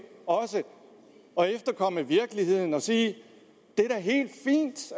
og efterkomme virkeligheden og sige